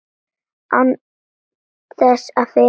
Án þess að fella tár.